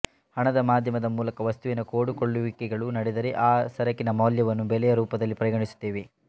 ಹಣದ ಮಾಧ್ಯಮದ ಮೂಲಕ ವಸ್ತುವಿನ ಕೊಡುಕೊಳ್ಳುವಿಕೆಗಳು ನಡೆದರೆ ಆ ಸರಕಿನ ಮೌಲ್ಯವನ್ನು ಬೆಲೆಯ ರೂಪದಲ್ಲಿ ಪರಿಗಣಿಸುತ್ತೇವೆ